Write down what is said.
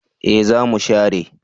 Eh za mu share